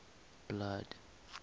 blood